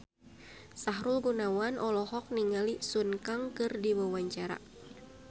Sahrul Gunawan olohok ningali Sun Kang keur diwawancara